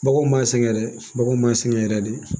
Baganw m'a sɛgɛn dɛ baganw m'a sɛŋɛ yɛrɛ de